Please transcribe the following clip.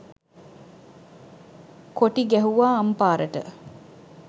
කොටි ගැහුවා අම්පාරට